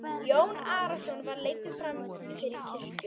Jón Arason var leiddur fram fyrir kirkjuna.